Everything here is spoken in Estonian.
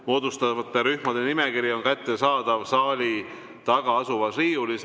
Moodustatavate rühmade nimekiri on kättesaadav saali taga asuvas riiulis.